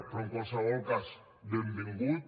però en qualsevol cas benvingut